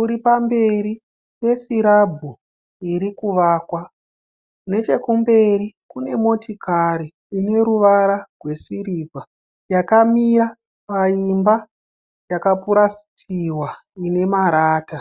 uri pamberi pekirabhu iri kuvakwa, nechekumberi pane mota ine ruvara rwesirivha yakamira paimba yakapurasitiwa ine marata.